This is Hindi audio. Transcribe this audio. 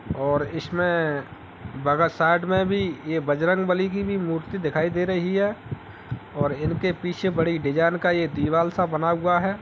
और इस में बग साइड़ में भी यह बजरंग बली की भी मूर्ति भी दिखाई दे रही है और इसके पीछे बड़ी डिजाइन का दीवाल सा बना हुआ है।